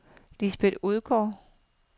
Lisbeth Odgaard